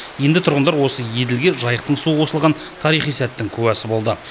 енді тұрғындар осы еділге жайықтың суы қосылған тарихи сәттің куәсі болды